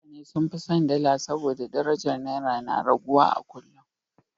Mutane sun fi son dala saboda darajar Naira na raguwa a kullum.